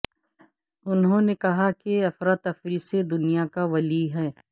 انہوں نے کہا کہ افراتفری سے دنیا کا ولی ہے